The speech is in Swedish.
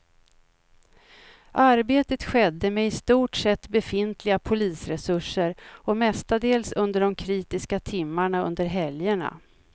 Arbetet skedde med i stort sett befintliga polisresurser och mestadels under de kritiska timmarna under helgerna.